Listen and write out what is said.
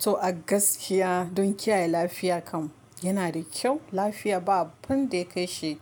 To a gaskiya don kiyaye lafiya kam yana da kyau. Lafiya ba abun da ya kai shi